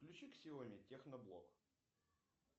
включи ксиоми техноблог